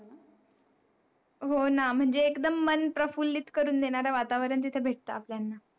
हो ना, म्हनजे एकदम मन प्रफुल्लित करून देणारा वातावरण तिथं भेटत आपल्याला.